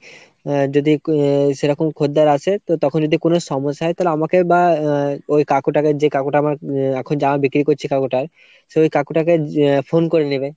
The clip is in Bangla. আহ যদি আহ সেরকম খদ্দের আসে তো তখন যদি কোনো সমস্যা হয় তালে আমাকে বা আ ওই কাকুটাকে যে কাকুটা আমার আ এখন জামা বিক্রি করছে কাকুটা, সে ওই কাকুটাকে যে phone করে নিবে।